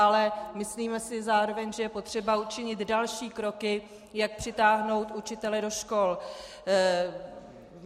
Ale myslíme si zároveň, že je potřeba učinit další kroky, jak přitáhnout učitele do škol.